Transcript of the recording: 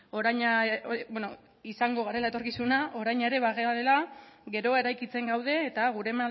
orain ere bagarela geroa eraikitzen gaude eta gure